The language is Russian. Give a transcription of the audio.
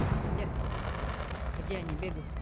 где где они бегают